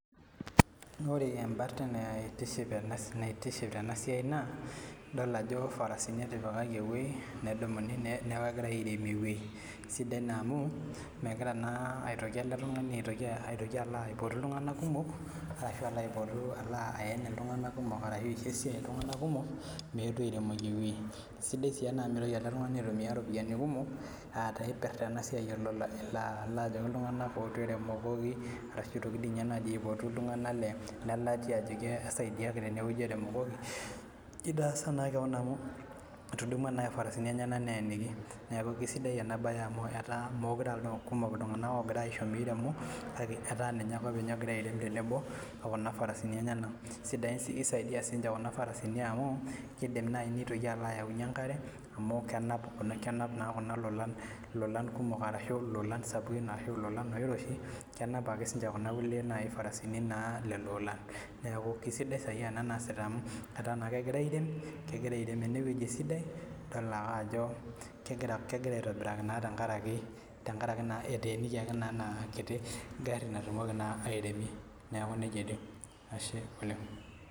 Ore embarta naitiship na idolita ajo farasini etipikai na kegira airemie ewoi sidai amu megira na aitoki eletungani aisho esiai ltunganak kumok meetu airemoki ewoi sidai amu mitoki eletungani aitumia ropiyani kumok ajoki ltunganak ootu eremokoki ashu aitumia ltunganak lelatia ajoki esaidiaki tenewueji eremokoki etudunua farasini enyenak neeniki ataa ninye openy ogira airem tenebo okuna farasini enyenak kisaidia kuna farasini amu kidim ashomoita ayaki enkare amu kenap ninche lolan sapukin ashu lolan oiroshi kenap ake ninche kuna farasini amu ataa kegira airem kegira airem enewueji esidai idok ake ajo kegira aitobiraa tenkaraki etuunokoki enagari nagira airemie neaku nejia ajo ashe